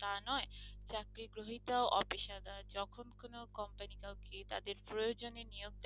তা নয় চাকরি গ্রহীতাও অপেশাদার যখন কোন company কাউকে তাদের প্রয়োজনে নিয়োগ দেয়,